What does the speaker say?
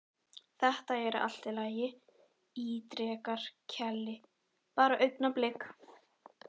Þetta er allt í lagi, ítrekar Keli, bara augnablik.